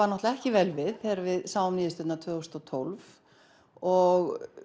náttúrulega ekki vel við þegar við sáum niðurstöðurnar tvö þúsund og tólf og